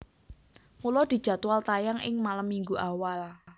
Mula dijadwal tayang ing malem Minggu awal